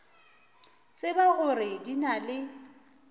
tseba gore di na le